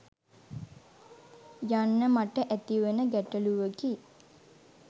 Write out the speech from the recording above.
යන්න මට ඇතිවන ගැටළුවකි.